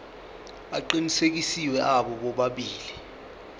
aqinisekisiwe abo bobabili